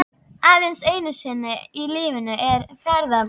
Aðeins einu sinni í lífinu ertu ferðbúinn, tuldraði hann.